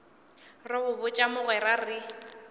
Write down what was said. re go botša mogwera re